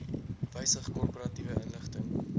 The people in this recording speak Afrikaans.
wysig korporatiewe inligting